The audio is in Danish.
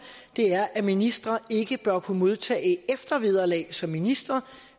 er at ministre ikke bør kunne modtage eftervederlag som ministre